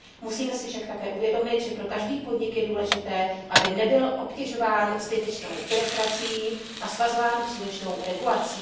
Musíme si však také uvědomit, že pro každý podnik je důležité, aby nebyl obtěžován zbytečnou byrokracií a svazován přílišnou regulací.